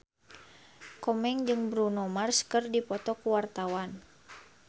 Komeng jeung Bruno Mars keur dipoto ku wartawan